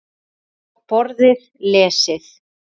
Borðið lesið.